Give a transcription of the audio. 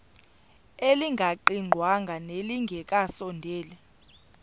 elingaqingqwanga nelinge kasondeli